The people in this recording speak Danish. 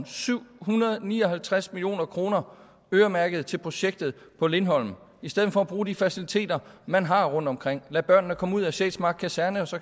syv hundrede og ni og halvtreds million kroner øremærket til projektet på lindholm i stedet for at bruge de faciliteter man har rundtomkring for lade børnene komme ud af sjælsmark kaserne så